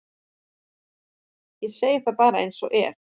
Ég segi það bara eins og er.